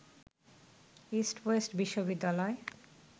east West বিশ্ববিদ্যালয়